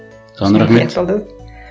саған рахмет